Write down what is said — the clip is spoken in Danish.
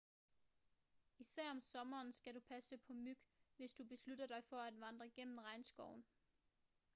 især om sommeren skal du passe på myg hvis du beslutter dig for at vandre gennem regnskoven